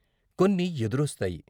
కొన్ని ఎదురొస్తాయి.